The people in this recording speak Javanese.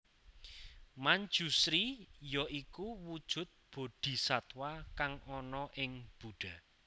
Manjusri ya iku wujud Boddhisatwa kang ana ing buddha